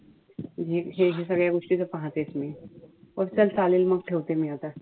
म्हणजे हे जे सगळ्या गोष्टी ते पहातेच मी. तर चालेल मग मी ठेवते आता.